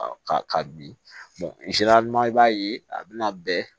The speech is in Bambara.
Ka ka bin i b'a ye a bɛna bɛn